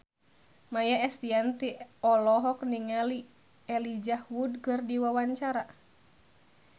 Maia Estianty olohok ningali Elijah Wood keur diwawancara